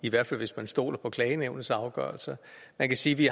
i hvert fald hvis man stoler på klagenævnets afgørelser man kan sige at vi